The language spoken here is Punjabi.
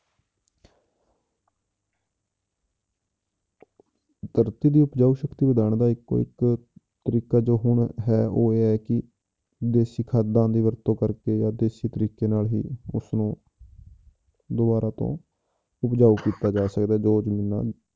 ਧਰਤੀ ਦੀ ਉਪਜਾਊ ਸ਼ਕਤੀ ਵਧਾਉਣ ਦਾ ਇੱਕੋ ਇੱਕ ਤਰੀਕਾ ਜੋ ਹੁਣ ਹੈ ਉਹ ਇਹ ਹੈ ਕਿ ਦੇਸੀ ਖਾਦਾਂ ਦੀ ਵਰਤੋਂ ਕਰਕੇ ਜਾਂ ਦੇਸੀ ਤਰੀਕੇ ਨਾਲ ਹੀ ਉਸਨੂੰ ਦੁਬਾਰਾ ਤੋਂ ਉਪਜਾਊ ਕੀਤਾ ਜਾ ਸਕਦਾ ਜੋ ਜ਼ਮੀਨਾਂ